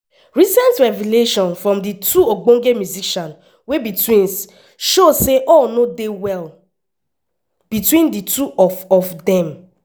recent revelations from di two ogbonge musicians wey be twins show say all no dey well between di two of of dem.